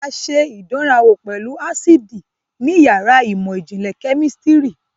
A ṣe ìdánrawò pẹ̀lú ásíìdì ní yàrá ìmọ̀ ìjìnlẹ̀ kẹ́mísítìrì.